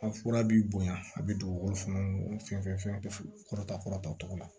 A fura b'i bonya a bɛ dugukolo fɛn fɛn kɔrɔta kɔrɔ ta cogo la